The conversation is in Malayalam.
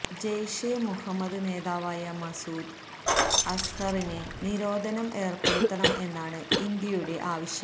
ജെയ്ഷെ മുഹമ്മദ് നേതാവായ മസൂദ് അസ്ഹറിന് നിരോധനം ഏര്പ്പെടുത്തണം എന്നാണ് ഇന്ത്യയുടെ ആവശ്യം